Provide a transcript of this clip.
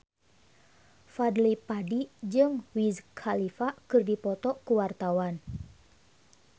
Fadly Padi jeung Wiz Khalifa keur dipoto ku wartawan